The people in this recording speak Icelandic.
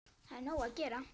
Það er nóg að gera!